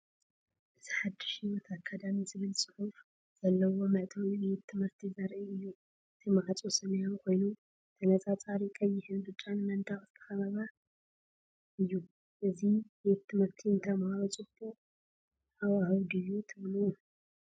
እዚ “ሓድሽ ህይወት ኣካዳሚ” ዝብል ጽሑፍ ዘለዎ መእተዊ ቤት ትምህርቲ ዘርኢ እዩ። እቲ ማዕጾ ሰማያዊ ኮይኑ ብተነጻጻሪ ቀይሕን ብጫን መንደቕ ዝተኸበበ እዩ። እዚ ቤት ትምህርቲ ንተማሃሮ ጽቡቕ ሃዋህው ድዩ ትብሉ?